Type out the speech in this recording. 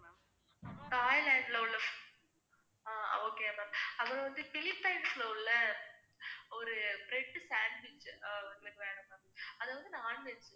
தாய்லாந்தில உள்ள hmm okay ma'am அப்புறம்வந்து பிலிப்பைன்சில உள்ள ஒரு bread sandwich அஹ் எங்களுக்கு வேணும் ma'am அதாவது non-veg